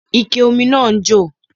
Ike ómi náà ń jò